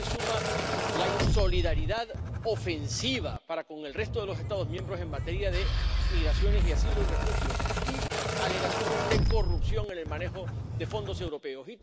Pero ahora se suman la insolidaridad ofensiva para con el resto de los Estados miembros en materia de migraciones, asilo y refugio y alegaciones de corrupción en el manejo de fondos europeos.